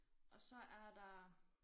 Og så er der